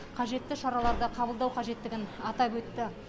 қажетті шараларды қабылдау қажеттігін атап өтті